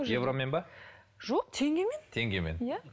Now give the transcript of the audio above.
евромен ба жоқ теңгемен теңгемен иә